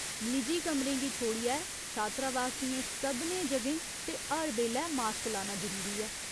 निजी कमरें गी छोड़ियै छात्रावास दियें सभनें जगहें ते हर बेल्लै मास्क लाना जरूरी ऐ।